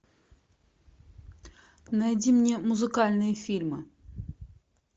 найди мне музыкальные фильмы